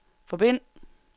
forbind